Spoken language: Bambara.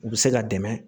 U bɛ se ka dɛmɛ